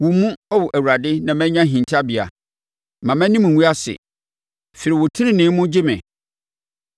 Wo mu, Ao Awurade, na manya hintabea; mma mʼanim ngu ase; firi wo tenenee mu gye me.